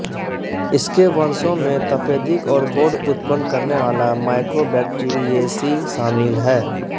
इसके वंशों में तपेदिक और कोढ़ उत्पन्न करने वाला माइकोबैक्टीरियेसी शामिल है